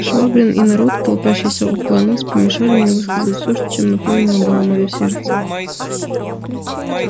швабрин и народ толпящийся около нас помешали мне высказать все чем исполнено было моё сердце